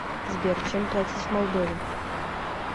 сбер чем платить в молдове